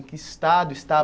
Em que estado